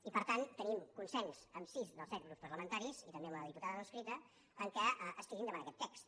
i per tant tenim consens amb sis dels sets grups parlamentaris i també amb la diputada no adscrita en el fet que es tiri endavant aquest text